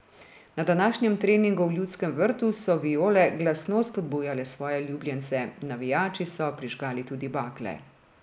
Na današnjem treningu v Ljudskem vrtu so Viole glasno spodbujale svoje ljubljence, navijači so prižgali tudi bakle.